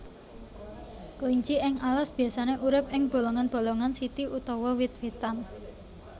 Kelinci ing alas biasané urip ing bolongan bolongan siti utawa wit witan